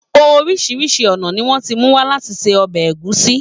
Oríṣiríṣi ọ̀nà ni wọ́n ti mú wá láti fi se ọbẹ̀ ẹ̀gúsí.